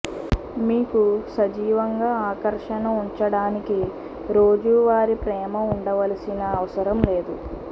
మీకు సజీవంగా ఆకర్షణ ఉంచడానికి రోజువారీ ప్రేమ ఉండవలసిన అవసరం లేదు